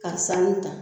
Ka sanu ta